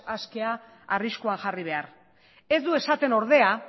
askea arriskuan jarri behar ez du esaten ordea